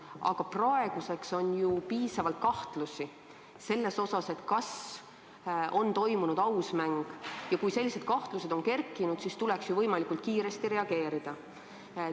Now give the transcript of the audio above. Aga praeguseks on ju tekkinud piisavalt kahtlusi selles osas, kas on toimunud aus mäng, ja kui sellised kahtlused on kerkinud, siis tuleks võimalikult kiiresti reageerida.